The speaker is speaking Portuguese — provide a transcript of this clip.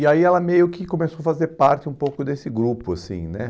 E aí ela meio que começou a fazer parte um pouco desse grupo, assim, né?